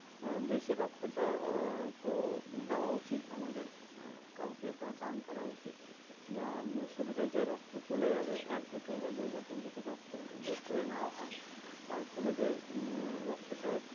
আহ বেশি রক্তটা দেওয়া তো দেওয়া উচিত না আমাদের আহ কাউকে বা দান করা উচিত বা উম শরীরের যে রক্ত চলে যাবে এক বোতল বা দুই বোতল যদি রক্ত বের করে নেওয়াও হয় তার ফলে যে উম আহ রক্তটা